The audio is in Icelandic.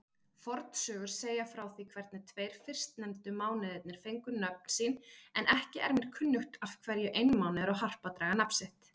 Fornsögur segja frá því hvernig tveir fyrstnefndu mánuðirnir fengu nöfn sín, en ekki er mér kunnugt af hverju einmánuður og harpa dragi nafn.